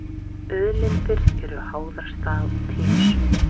Auðlindir eru háðar stað og tíma.